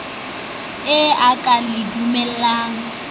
e a ke le duleng